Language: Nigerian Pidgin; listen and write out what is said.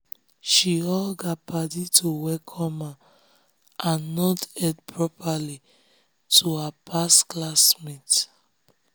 she hug her paddy to welcome am and nod head properly to her past class mate.